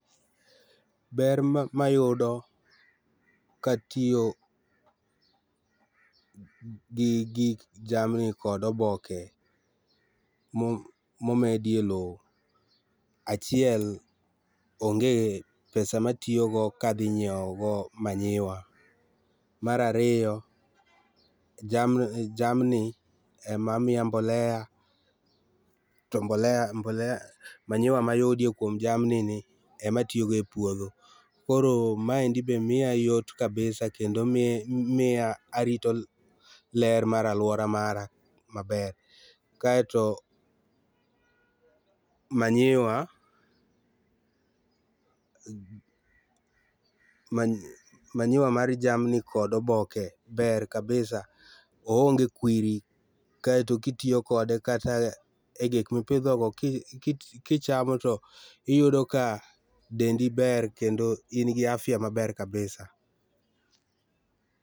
Ber ma ayudo katiyo gi gik jamni kod oboke ma omedie loo, achiel onge pesa ma atiyogo ka adhi nyiewogo manyiwa .Mar ariyo jamni ema miya mbolea to manyiwa ma ayudo godo kuom jami ni ema tiyogo e puodho koro mae be miya yot kabisa kendo miya arito ler mar aluora mara maber. Kaeto manyiwa mar jamni kodo oboke ber kabisa ooonge kwiri ,kaeto ka itiyo kode kata e gik ma ipidhogo kichamo to iyudo ka dendi ber kendo in gi afya maber kabisa.